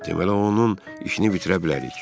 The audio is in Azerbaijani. Deməli onun işini bitirə bilərik.